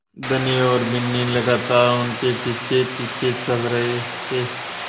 धनी और बिन्नी लगातार उनके पीछेपीछे चल रहे थे